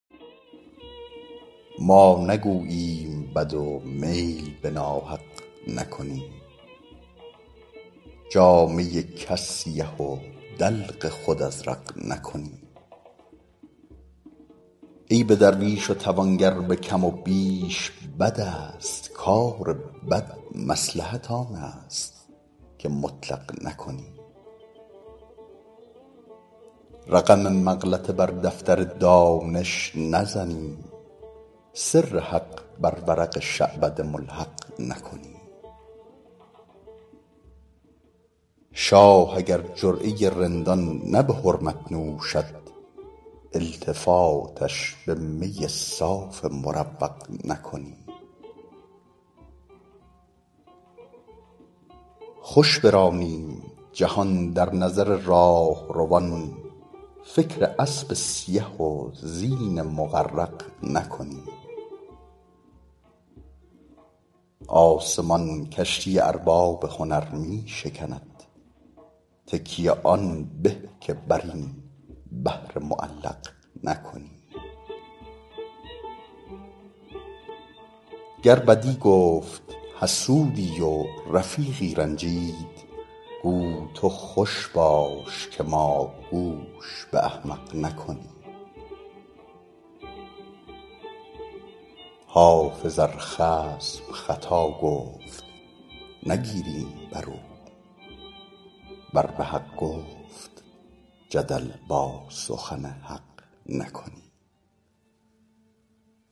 ما نگوییم بد و میل به ناحق نکنیم جامه کس سیه و دلق خود ازرق نکنیم عیب درویش و توانگر به کم و بیش بد است کار بد مصلحت آن است که مطلق نکنیم رقم مغلطه بر دفتر دانش نزنیم سر حق بر ورق شعبده ملحق نکنیم شاه اگر جرعه رندان نه به حرمت نوشد التفاتش به می صاف مروق نکنیم خوش برانیم جهان در نظر راهروان فکر اسب سیه و زین مغرق نکنیم آسمان کشتی ارباب هنر می شکند تکیه آن به که بر این بحر معلق نکنیم گر بدی گفت حسودی و رفیقی رنجید گو تو خوش باش که ما گوش به احمق نکنیم حافظ ار خصم خطا گفت نگیریم بر او ور به حق گفت جدل با سخن حق نکنیم